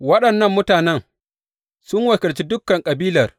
Waɗannan mutanen sun wakilci dukan kabilar.